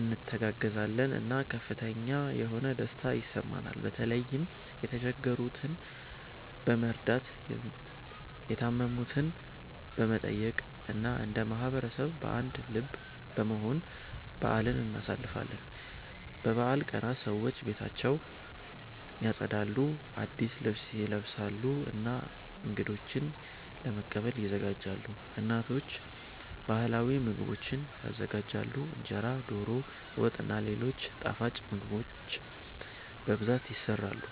እንተጋገዛለን እና ከፍተኛ የሆነ ደስታ ይሰማናል። በተለይም የተቸገሩትን በመርዳት፣ የታመሙትን በመጠየቅ እና እንደ ማህበረሰብ በአንድ ልብ በመሆን በአልን እናሳልፋለን። በበዓል ቀናት ሰዎች ቤታቸውን ያጸዳሉ፣ አዲስ ልብስ ይለብሳሉ እና እንገዶችን ለመቀበል ይዘጋጃሉ። እናቶች ባህላዊ ምግቦችን ይዘጋጃሉ፣ እንጀራ፣ ዶሮ ወጥ እና ሌሎች ጣፋጭ ምግቦች በብዛት ይሰራሉ።